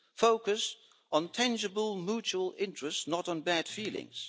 focussed on tangible mutual interests, not on bad feelings.